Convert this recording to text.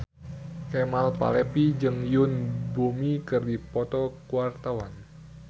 Kemal Palevi jeung Yoon Bomi keur dipoto ku wartawan